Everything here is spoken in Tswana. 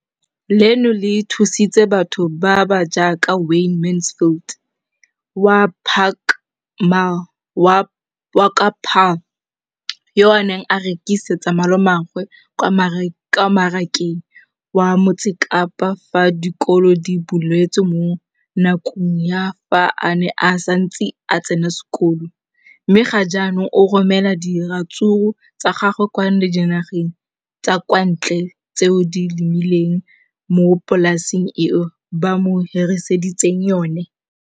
leno le thusitse batho ba ba jaaka Wayne Mansfield, 33, wa kwa Paarl, yo a neng a rekisetsa malomagwe kwa Marakeng wa Motsekapa fa dikolo di tswaletse, mo nakong ya fa a ne a santse a tsena sekolo, mme ga jaanong o romela diratsuru tsa gagwe kwa dinageng tsa kwa ntle tseo a di lemileng mo polaseng eo ba mo hiriseditseng yona.